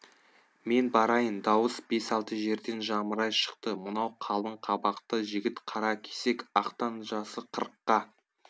мен барайын дауыс бес алты жерден жамырай шықты мынау қалың қабақты жігіт қаракесек ақтан жасы қырыққа